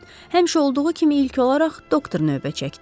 Həmişə olduğu kimi ilk olaraq doktor növbə çəkdi.